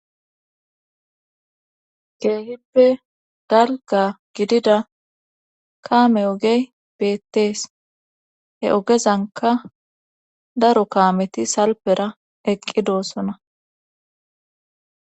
Keehippe dalga gidida kaame ogey beettees he ogezanka daro kaameti salpera eqqi doossona